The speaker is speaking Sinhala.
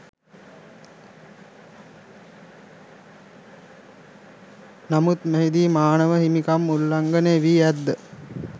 නමුත් මෙහිදී මානව හිමිකම් උල්ලංඝනය වී ඇත්ද?